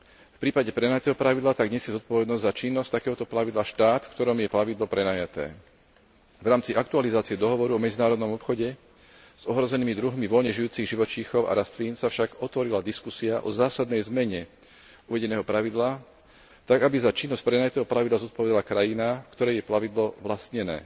V prípade prenajatého plavidla tak nesie zodpovednosť za činnosť takéhoto plavidla štát, v ktorom je plavidlo prenajaté. V rámci aktualizácie dohovorov o medzinárodnom obchode s ohrozenými druhmi voľne žijúcich živočíchov a rastlín sa však otvorila diskusia o zásadnej zmene uvedeného pravidla tak, aby za činnosť prenajatého plavidla zodpovedala krajina, v ktorej je plavidlo vlastnené.